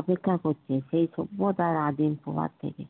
অপেক্ষা করছে সেই সভ্যতার আদিম প্রভাব থেকে